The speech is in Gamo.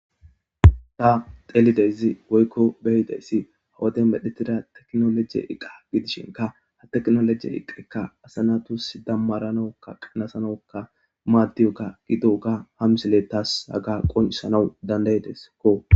ta xelizay woykko beyidayssi hawade medhetida teknoloje iqa gidishinka ha teknoloje iqekka asanatus dammaranokka qanasanokka maaddiyoka gido ga hamsele tas haga qonisanawu dandayedeskko